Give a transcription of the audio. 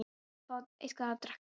Ég verð að fá eitthvað að drekka.